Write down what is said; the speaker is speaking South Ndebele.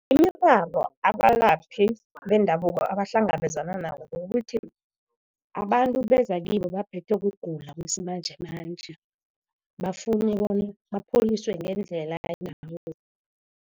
Imiraro abalaphi bendabuko abahlangabezana nabo kukuthi abantu beza kibo baphethwe kugula besimanjemanje, bafune bona ibapholise ngendlela